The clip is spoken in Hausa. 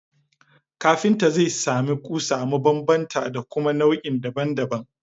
Kafinta zai sami ƙusa mabanbanta da kuma nau’i daban daban